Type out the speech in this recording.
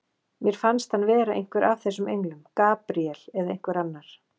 Mér fannst hann vera einhver af þessum englum, Gabríel eða einhver annar.